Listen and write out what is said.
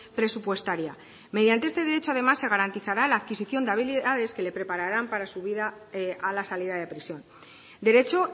presupuestaria mediante este derecho además se garantizará la adquisicion de habilidades que le prepararán para su vida a la salida de prisión derecho